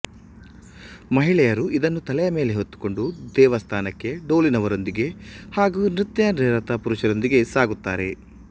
ಮಹಿಳೆಯರು ಇದನ್ನು ತಲೆಯ ಮೇಲೆ ಹೊತ್ತುಕೊಂಡು ದೇವಸ್ಥಾನಕ್ಕೆ ಡೋಲಿನವರೊಂದಿಗೆ ಹಾಗೂ ನೃತ್ಯನಿರತ ಪುರುಷರೊಂದಿಗೆ ಸಾಗುತ್ತಾರೆ